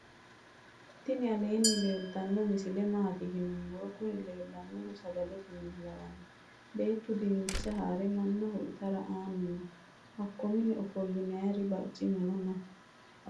tini aleni leltano misile matti yinumoro. kunni lelanohu sagalete mine lawano bettu dinicha hare maanaho iitara anino hako mine offolinayiti barcimano noo.